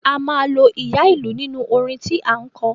A máa lo ìyá ìlú nínú orin tí à ń kọ.